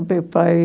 O meu pai,